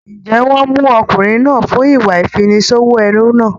Ǹjẹ́ wọ́n mú ọkùnrin náà fún ìwà ìfiniṣòwò ẹrú náà?